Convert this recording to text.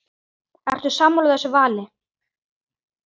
Kolbeinn Tumi Fleira?